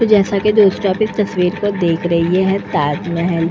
तो जैसा कि दोस्तों आप इस तस्वीर को देख रहे हैं ये है ताजमहल।